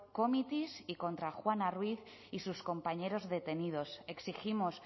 committees y contra juana ruiz y sus compañeros detenidos exigimos